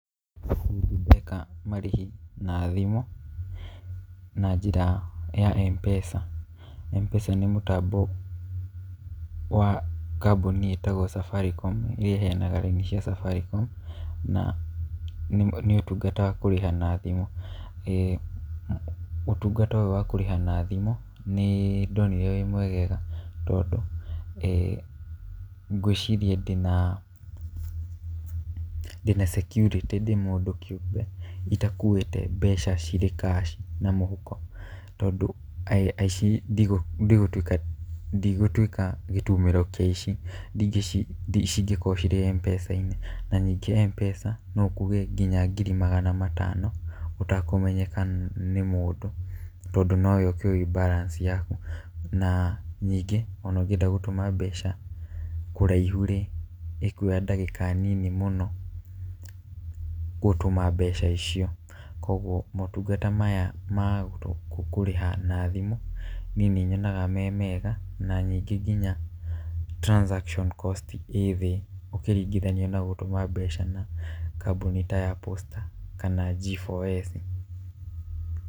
Nĩndĩ ndeka marĩhi na thimũ, na njĩra ya Mpesa. Mpesa nĩ mũtambo wa kambũni ĩtagwo Safaricom ĩrĩa ĩheanaga raini cia Safaricom, na nĩ ũtungata wa kũrĩha na thimũ. Ũtungata ũyũ wa kũrĩha na thimũ nĩndonire wĩ mwegega, tondũ ngwĩciria ndĩna ndĩna security ndĩ mũndũ kĩũmbe itakuĩte mbeca cirĩ cash na mũhuko, tondũ aici ndigũtuĩka ndigũtuĩka gĩtumĩro kĩa aici cingĩkorwo ciĩ Mpesa-inĩ. Na ningĩ Mpesa no ĩkue kinya ngiri magana matano ũtakũmenyeka nĩ mũndũ, tondũ nowe ũkĩũwĩ balance yaku. Na ningĩ ona ũngĩenda gũtũma mbeca kũraihu-rĩ, ĩkuoya ndagĩka nini mũno gũtũma mbeca icio, koguo motungata maya ma kũrĩha na thimũ niĩ nĩnyonaga me mega, na ningĩ nginya transaction cost ĩ thĩ ũkĩringithania na gũtũma mbeca na kambũni ta ya Posta kana G4S.